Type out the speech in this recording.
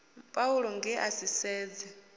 paulo nge a si sedze